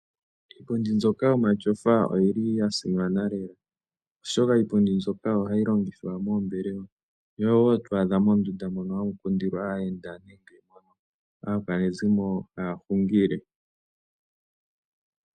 Iipundi mbyoka yomatyofa oyi li yasimana lela, oshoka ipundi mbyoka oyo hayi longithwa moombelewa, yo oyo wo to adha mondunda mono hamu kundilwa aayenda, nenge mono aakwanezimo haya hungile.